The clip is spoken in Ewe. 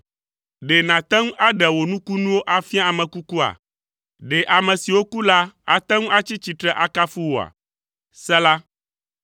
Ɖe nàte ŋu aɖe wò nukunuwo afia ame kukua? Ɖe ame siwo ku la ate ŋu atsi tsitre akafu wòa? Sela